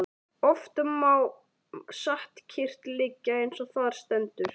Oft má satt kyrrt liggja eins og þar stendur.